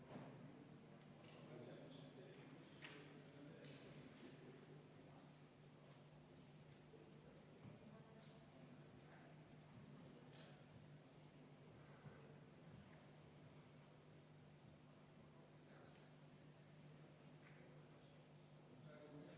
Ma järgmine kord panen hääletusele ilma ütlemata.